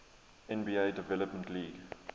nba development league